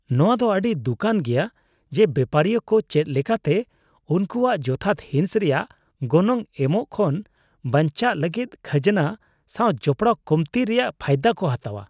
ᱱᱚᱣᱟ ᱫᱚ ᱟᱹᱰᱤ ᱫᱩᱠᱟᱱ ᱜᱮᱭᱟ ᱡᱮ ᱵᱮᱯᱟᱨᱤᱭᱟᱹ ᱠᱚ ᱪᱮᱫ ᱞᱮᱠᱟᱛᱮ ᱩᱱᱠᱩᱭᱟᱜ ᱡᱚᱛᱷᱟᱛ ᱦᱤᱸᱥ ᱨᱮᱭᱟᱜ ᱜᱚᱱᱚᱝ ᱮᱢᱚᱜ ᱠᱷᱚᱱ ᱵᱟᱧᱪᱟᱜ ᱞᱟᱹᱜᱤᱫ ᱠᱷᱟᱡᱱᱟ ᱥᱟᱣ ᱡᱚᱯᱲᱟᱣ ᱠᱚᱢᱛᱤ ᱨᱮᱭᱟᱜ ᱯᱷᱟᱭᱫᱟ ᱠᱚ ᱦᱟᱛᱟᱣᱟ ᱾